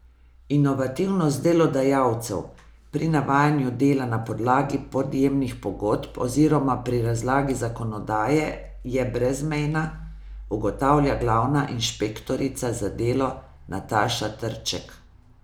Inovativnost delodajalcev pri navajanju dela na podlagi podjemnih pogodb oziroma pri razlagi zakonodaje je brezmejna, ugotavlja glavna inšpektorica za delo Nataša Trček.